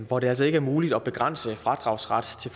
hvor det altså ikke er muligt at begrænse fradragsret til